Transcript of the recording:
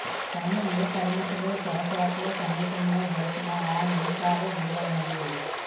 కానీ ఏ పరిమితులు సొరచేపలు సమీపంలో గడిపిన ఆ నిమిషాల విలువైనవి